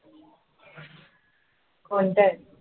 कोणता आहे?